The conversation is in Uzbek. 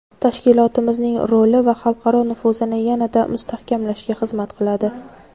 Tashkilotimizning roli va xalqaro nufuzini yanada mustahkamlashga xizmat qiladi.